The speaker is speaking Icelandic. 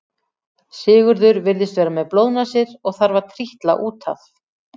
Sigurður virðist vera með blóðnasir og þarf að trítla út af.